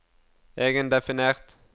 egendefinert